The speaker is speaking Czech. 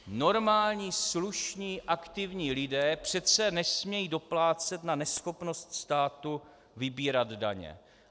Normální, slušní, aktivní lidé přece nesmějí doplácet na neschopnost státu vybírat daně.